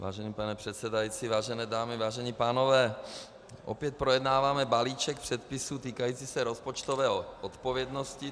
Vážený pane předsedající, vážené dámy, vážení pánové, opět projednáváme balíček předpisů týkající se rozpočtové odpovědnosti.